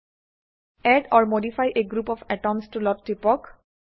add or modify a group of atoms টুলত টিপক